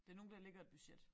Det nogen der lægger et budget